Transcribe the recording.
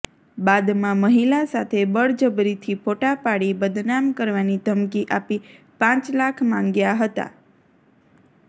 બાદમાં મહિલા સાથે બળજબરીથી ફોટા પાડી બદનામ કરવાની ધમકી આપી પાંચ લાખ માંગ્યા હતા